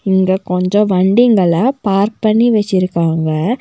இங்க கொஞ்சம் வண்டிங்கள பார்க் பண்ணி வச்சிருக்காங்க.